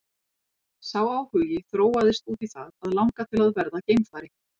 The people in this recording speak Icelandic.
Sá áhugi þróaðist út í það að langa til að verða geimfari.